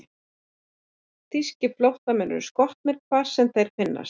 Þýskir flóttamenn eru skotnir, hvar sem þeir finnast.